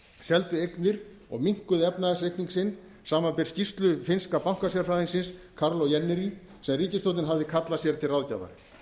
seldu eignir og minnkuðu efnahagsreikning sinn samanber skýrslu finnska bankasérfræðingsins karl o jennery sem ríkisstjórnin hafði kallað sér til ráðgjafar